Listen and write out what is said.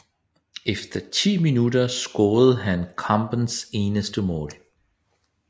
Efter 10 minutter scorede han kampens eneste mål